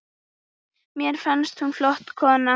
Mér fannst hún flott kona.